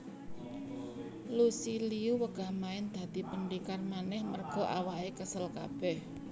Lucy Liu wegah main dadi pendekar maneh merga awake kesel kabeh